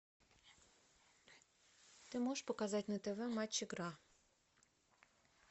ты можешь показать на тв матч игра